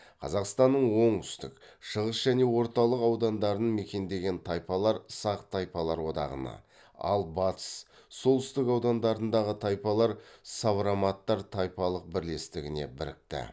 қазақстанның оңтүстік шығыс және орталық аудандарын мекендеген тайпалар сақ тайпалар одағына ал батыс солтүстік аудандарындағы тайпалар савроматтар тайпалық бірлестігіне бірікті